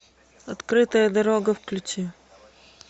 открытая дорога включи